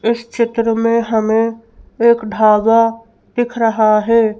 इस चित्र में हमें एक धागा दिख रहा है।